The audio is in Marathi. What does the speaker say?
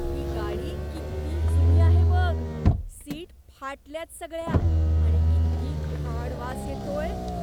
ती गाडी किती जुनी आहे बघ. सीट फाटल्यात सगळ्या आणि किती घाण वास येतोय.